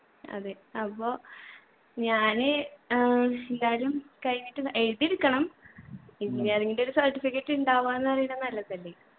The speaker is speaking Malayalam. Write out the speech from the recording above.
അതെ. അപ്പൊ ഞാന് ആഹ് എന്തായാലും കഴിഞ്ഞിട്ടിത് എഴുതി എടുക്കണം engineering ൻ്റെ ഒരു certificate ഇണ്ടാവാന്ന് പറയുന്നെ നല്ലതല്ലേ